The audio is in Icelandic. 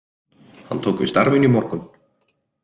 Hann tók við starfinu í morgun